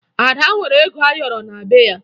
Ada nwere ego ayọrọ na be ya